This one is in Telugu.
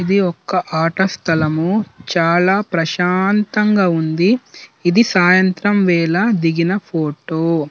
ఇది ఒక ఆట స్థలం చాల ప్రశాంతంగా ఉంది. ఇది సాయంత్రం వేళ దిగిన ఫోటో .